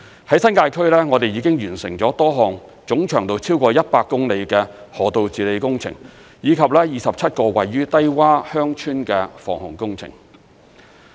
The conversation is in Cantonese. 在新界區，我們已經完成了多項總長度超過100公里的河道治理工程，以及27個位處低窪鄉村的防洪工程。